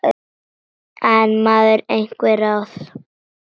Sú von varð að engu.